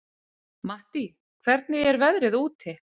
Mattý, hvernig er veðrið úti?